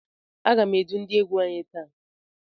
A gá m edu ndị égwu anyị taa.